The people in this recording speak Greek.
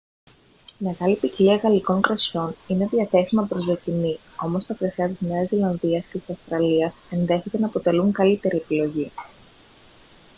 μεγάλη ποικιλία γαλλικών κρασιών είναι διαθέσιμα προς δοκιμή όμως τα κρασιά της νέας ζηλανδίας και της αυστραλίας ενδέχεται να αποτελούν καλύτερη επιλογή